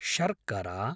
शर्करा